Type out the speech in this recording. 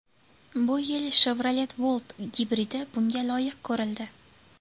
Bu yil Chevrolet Volt gibridi bunga loyiq ko‘rildi.